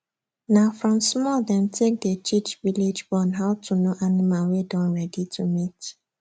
na from small dem take dey teach viage born how to know animal wey don ready to mate